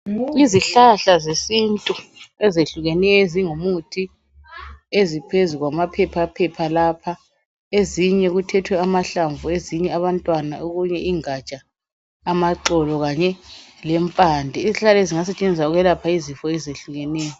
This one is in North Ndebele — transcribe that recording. Izihlahla zesintu ezehlukeneyo ezingumuthi eziphezu kwamaphepha lapha, ezinye kuthethwe amahlamvu ezinye abantwana okunye ingatsha, amaxolo kanye lempande. Izihlahla lezi zingasetshenziswa ukwelapha izifo ezehlukeneyo.